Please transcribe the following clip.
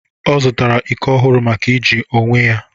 ọ zụtara iko ọhụrụ maka iji onwe ya